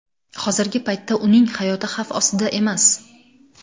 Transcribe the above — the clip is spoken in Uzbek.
Hozirgi paytda uning hayoti xavf ostda emas.